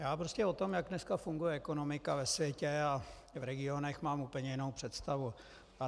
Já prostě o tom, jak dneska funguje ekonomika ve světě a v regionech, mám úplně jinou představu.